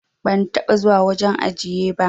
Ban taba zuwa wajen ajiye ba.